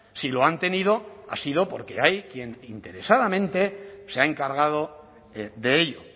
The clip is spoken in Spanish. si lo han tenido ha sido porque hay quien interesadamente se ha encargado de ello